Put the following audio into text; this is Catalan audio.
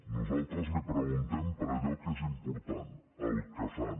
nosaltres li preguntem per allò que és important el que fan